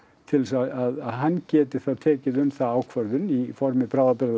til þess að hann geti þá tekið um það ákvörðun í formi